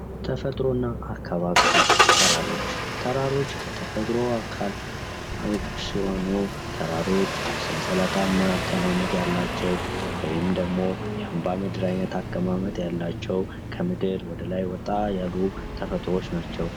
ተፈጥሮ እና አካባቢ ተራሮች ተራሮች ከተፈጥሮ አካሎች ሲሆኑ ተራሮች ሰንሰለታማ አቀማመጥ ያላቸው ወይም ደግሞ የአምባ ምድር አይነት አቀማማጥ ያላቸው ከምድር ወደ ላይ ወጣ ያሉ ተፈጥሮዎች ናቸው።